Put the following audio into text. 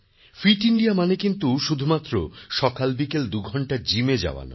fit India মানে কিন্তু শুধুমাত্র রোজ সকালবিকাল দুঘণ্টা জিমে যাওয়া নয়